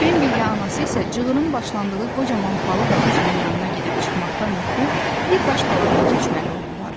Bembi ilə anası isə cığırın başlandığı qocaman palıd ağacının yanına gedib çıxmaqdan ötrü bir baş taladan keçməli oldular.